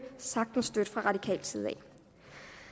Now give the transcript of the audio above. sagtens støtte fra radikal side i